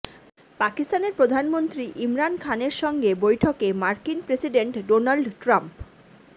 পাকিস্তানের প্রধানমন্ত্রী ইমরান খানের সঙ্গে বৈঠকে মার্কিন প্রেসিডেন্ট ডোনাল্ড ট্রাম্প